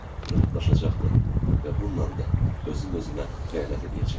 Rahatlaşacaqdım və bununla da özüm-özümə xəyanət eləyəcəkdim.